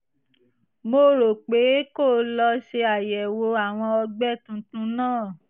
mo rọ̀ ọ́ pé kó o lọ ṣe àyẹ̀wò àwọn ọgbẹ́ tuntun náà